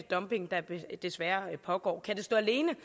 dumping der desværre pågår kan det står alene